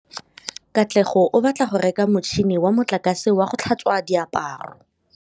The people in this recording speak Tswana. Katlego o batla go reka motšhine wa motlakase wa go tlhatswa diaparo.